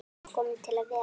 Kominn til að vera.